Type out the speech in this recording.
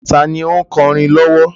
Tani ó ń kọrin lowo?